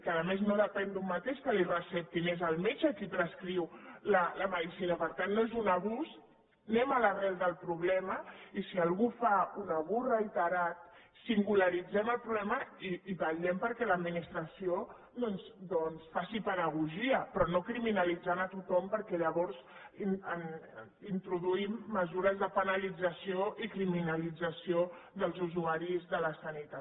que a més no depèn d’un mateix que li ho receptin és el metge qui prescriu la medicina per tant no és un abús anem a l’arrel del problema i si algú fa un abús reiterat singularitzem el problema i vetllem perquè l’adminis·tració doncs faci pedagogia però no criminalitzant a tothom perquè llavors introduïm mesures de penalit·zació i criminalització dels usuaris de la sanitat